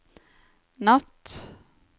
natt